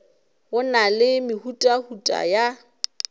go na le mehutahuta ya